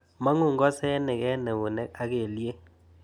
Mang'u ng'osenik eng eunek ak kelyek